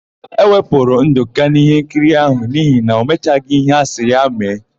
E wepụrụ Ndụka n'íhénkiri áhụ̀ n'ihi na ọ metaghị íhé asị ya mee.